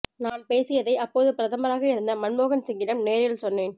நான் பேசியதை அப்போது பிரதமராக இருந்த மன்மோகன் சிங்கிடம் நேரில் சொன்னேன்